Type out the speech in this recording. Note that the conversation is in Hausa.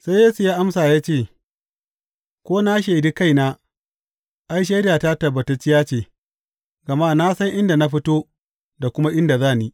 Sai Yesu ya amsa ya ce, Ko na shaidi kaina, ai, shaidata tabbatacciya ce, gama na san inda na fito da kuma inda za ni.